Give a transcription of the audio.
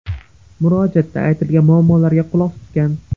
Murojaatda aytilgan muammolarga quloq tutgan.